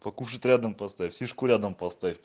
покушать рядом поставь фишку рядом поставь